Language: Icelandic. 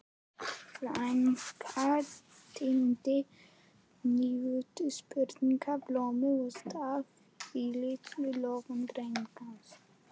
Frænka tíndi nýútsprungin blóm og stakk í lítinn lófa Drengs.